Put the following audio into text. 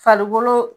Farikolo